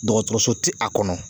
Dɔgɔtɔrɔso ti a kɔnɔ